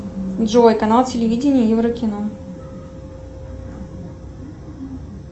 джой канал телевидение еврокино